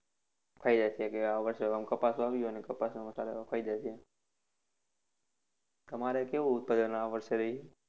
થઇ જશે કે આ વર્ષે આમ કપાસ વાવ્યો અને કપાસ છે. તમારે કેવું ઉત્પાદન આ વર્ષે રહ્યું?